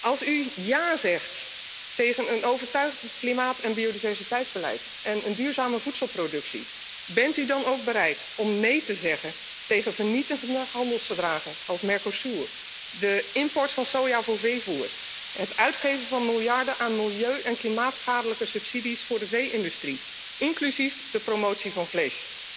Als u ja zegt tegen een overtuigd klimaat en biodiversiteitsbeleid en een duurzame voedselproductie, bent u dan ook bereid om nee te zeggen tegen vernietigende handelsverdragen als Mercosur, de import van soja voor veevoer, het uitgeven van miljarden aan milieu en klimaatschadelijke subsidies voor de vee industrie, inclusief de promotie van vlees?